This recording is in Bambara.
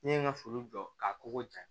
N'i ye n ka foro jɔ ka kogo ja